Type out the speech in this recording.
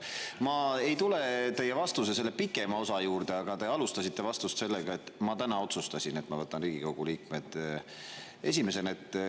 Ma ei tule teie vastuse pikema osa juurde, aga te alustasite vastust sellega, et ma täna otsustasin, et ma võtan Riigikogu liikmed esimesena.